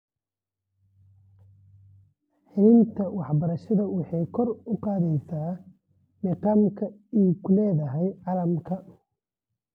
Helitaanka waxbarashada waxay kor u qaadaysaa meeqaamka ay ku leedahay caalamka.